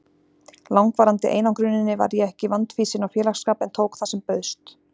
langvarandi einangruninni var ég ekki vandfýsin á félagsskap en tók það sem bauðst.